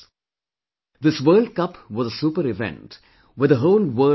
This world cup was a super event where the whole world was watching you